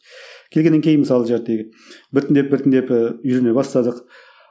келгеннен кейін мысалы біртіндеп біртіндеп і үйрене бастадық